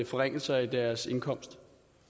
forringelser i deres indkomst